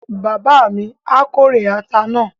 Bàbá mi á kórè ata náà